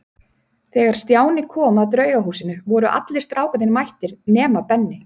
Þegar Stjáni kom að Draugahúsinu voru allir strákarnir mættir nema Benni.